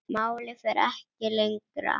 Málið fer ekki lengra.